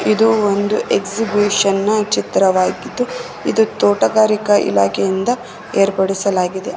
ಇದು ಒಂದು ಎಕ್ಸಿಬಿಷನ್ ನ ಚಿತ್ರವಾಗಿದ್ದು ಇದು ತೋಟಗಾರಿಕಾ ಇಲಾಖೆಯಿಂದ ಏರ್ಪಡಿಸಲಾಗಿದೆ.